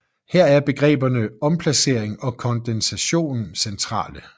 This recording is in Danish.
Her er begreberne omplacering og kondensation centrale